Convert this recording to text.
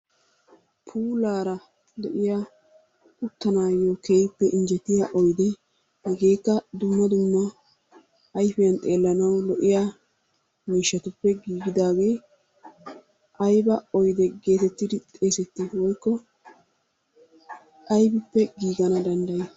Puulaara de'iya uttanaayyo keehippe injjetiya oydee hegeekka dumma dumma ayfiyan xeellanawu lo'iya miishshatuppe giigidaagee ayba oyde ggeetettidi xeesettii woykko aybippe giigana dandday?